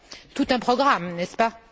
Tout un programme, n'est ce pas?